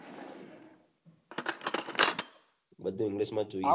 બઘુ English માં જોઈએ